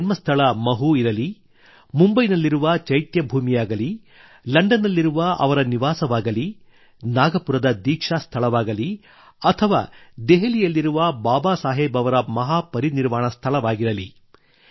ಅವರ ಜನ್ಮಸ್ಥಳ ಮಹೂ ಇರಲಿ ಮುಂಬೈನಲ್ಲಿರುವ ಚೈತ್ಯಭೂಮಿಯಾಗಲಿ ಲಂಡನ್ ನಲ್ಲಿರುವ ಅವರ ನಿವಾಸವಾಗಲೀ ನಾಗಪುರದ ದೀಕ್ಷಾ ಸ್ಥಳವಾಗಲಿ ಅಥವಾ ದೆಹಲಿಯಲ್ಲಿರುವ ಬಾಬಾಸಾಹೇಬ್ ಅವರ ಮಹಾ ಪರಿನಿರ್ವಾಣ ಸ್ಥಳವಾಗಿರಲಿ